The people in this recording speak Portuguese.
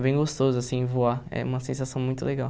É bem gostoso, assim, voar, é uma sensação muito legal.